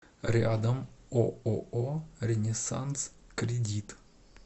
рядом ооо ренессанс кредит